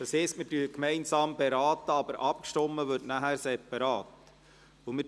Das heisst, wir beraten gemeinsam, aber wir stimmen nachher separat ab.